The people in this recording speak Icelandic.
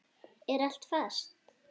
Er allt fast?